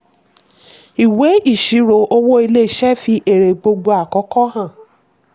ìwé ìṣirò owó ilé-iṣẹ́ fi èrè gbogbo àkókò hàn.